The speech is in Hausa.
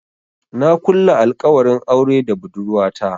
Na kulla alkawarin aure da budurwata.